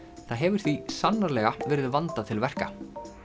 það hefur því sannarlega verið vandað til verka